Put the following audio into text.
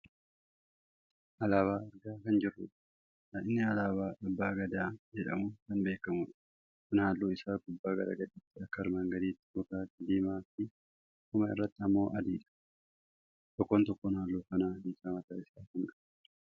alaabaa argaa kan jirrudha. inni alaabaa abbaa Gadaa jedhamuun kan beekkamudha. kuni halluun isaa gubbaa gara gadiitti akka armaan gadiiti; gurraacha, diimaa fi dhuma irratti ammoo adiidha. tokkoon tokkoon halluu kanaa hiikaa mataa isaa kan qabudha.